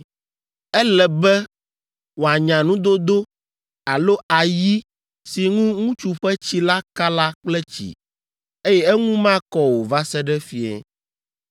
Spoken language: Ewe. Ele be wòanya nudodo alo ayi si ŋu ŋutsu ƒe tsi la ka la kple tsi, eye eŋu makɔ o va se ɖe fiẽ.